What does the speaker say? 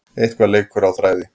Eitthvað leikur á þræði